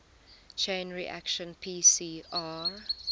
chain reaction pcr